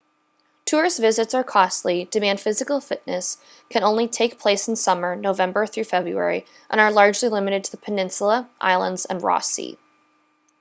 tourist visits are costly demand physical fitness can only take place in summer nov-feb and are largely limited to the peninsula islands and ross sea